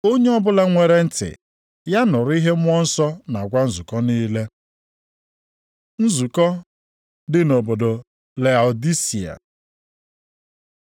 Onye ọbụla nwere ntị, ya nụrụ ihe Mmụọ Nsọ na-agwa nzukọ niile. Nzukọ dị nʼobodo Laodisia